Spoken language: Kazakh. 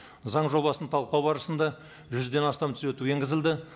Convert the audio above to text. заң жобасын талқылау барысында жүзден астам түзету енгізілді